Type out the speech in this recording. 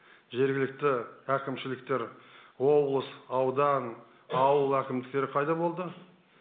жергілікті әкімшіліктер облыс аудан ауыл әкімдіктер пайда болды